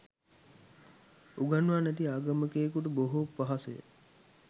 උගන්වා නැති ආගමිකයකුට බොහෝ පහසුය